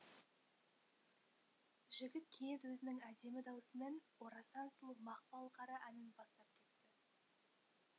жігіт кенет өзінің әдемі даусымен орасан сұлу мақпал қара әнін бастап кетті